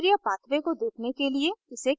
अभिक्रिया pathway को देखने के लिए इसे खींचें